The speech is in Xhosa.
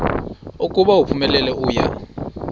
ukuba uphumelele uya